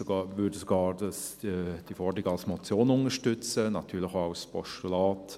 Wir würden diese Forderung sogar als Motion unterstützen, natürlich auch als Postulat.